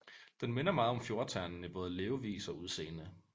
Den minder meget om fjordternen i både levevis og udseende